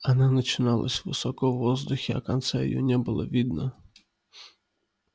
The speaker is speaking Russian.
она начиналась высоко в воздухе а конца её не было видно